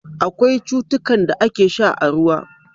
Akwai cutukan da ake sha a ruwa.